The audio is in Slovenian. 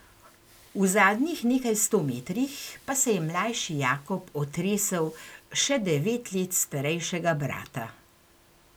V zadnjih nekaj sto metrih pa se je mlajši Jakob otresel še devet let starejšega brata.